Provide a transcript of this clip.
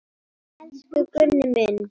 Elsku Gunni minn.